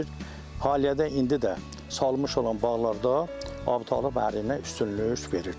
Hal-hazırda indi də salınmış olan bağlarda Əbutalibi əriyinə üstünlük verir.